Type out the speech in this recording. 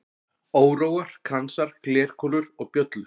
Óróar, kransar, glerkúlur og bjöllur.